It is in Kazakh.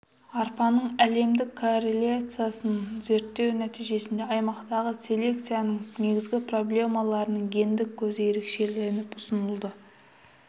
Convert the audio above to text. арпаның әлемдік коллекциясын зерттеу нәтижесінде аймақтағы селекцияның негізгі проблемаларының гендік көзі ерекшеленіп ұсынылды